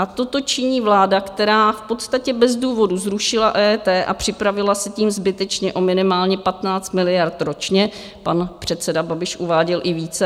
A toto činí vláda, která v podstatě bez důvodu zrušila EET a připravila se tím zbytečně o minimálně 15 miliard ročně, pan předseda Babiš uváděl i více.